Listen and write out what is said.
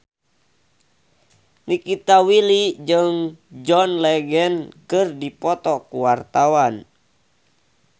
Nikita Willy jeung John Legend keur dipoto ku wartawan